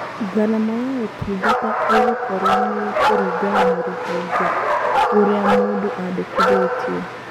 Ngarama ya ũtungata ĩgũkorũo nĩ ĩkũringana na rũhonge rũrĩa mũndũ andĩkithĩtie.